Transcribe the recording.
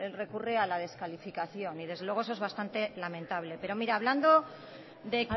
recurre a la descalificación y desde luego eso es bastante lamentable pero mire hablando de